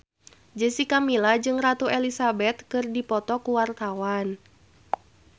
Jessica Milla jeung Ratu Elizabeth keur dipoto ku wartawan